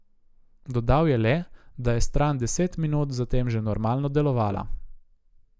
Dodal je le, da je stran deset minut zatem že normalno delovala.